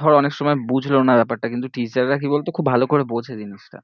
ধরে অনেক সময় বুঝলো না ব্যাপারটা কিন্তু teacher রা কি বলতো খুব ভালো করে বোঝে জিনিসটা